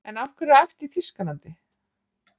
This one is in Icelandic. En af hverju er æft í Þýskalandi?